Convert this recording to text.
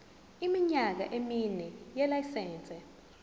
iminyaka emine yelayisense